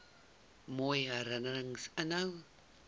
mooi herinnerings inhou